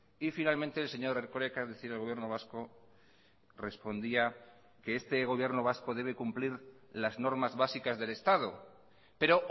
y finalmente el señor erkoreka es decir el gobierno vasco respondía que este gobierno vasco debe cumplir las normas básicas del estado pero